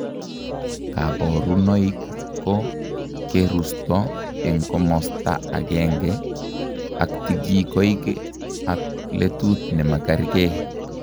Kaborunoik koo kerusto eng komosta agenge aktikikoik ak letut nemakerkee